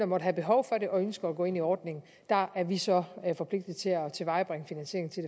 måtte have behov for det og ønsker at gå ind i ordningen er vi så forpligtet til at tilvejebringe finansiering til